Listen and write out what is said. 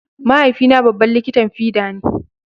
Mahaifina babban likitan fida ne.